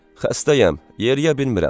Xəstəyəm, yeriyə bilmirəm.